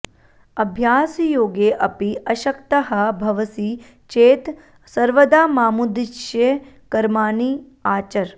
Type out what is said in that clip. अभ्यासयोगे अपि अशक्तः भवसि चेत् सर्वदा मामुद्दिश्य कर्माणि आचर